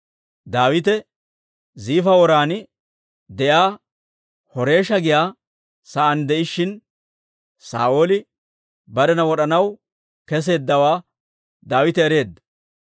Daawite Ziifa woran de'iyaa Horeesha giyaa saan de'ishshin, Saa'ooli barena wod'anaw kesseeddawaa Daawite ereedda.